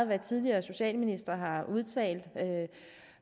hvad tidligere socialministre har udtalt